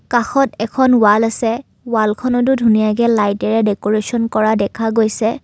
কাষত এখন ৱাল আছে ৱালখনতো ধুনীয়াকে লাইটেৰে দেকোৰেচন কৰা আছে।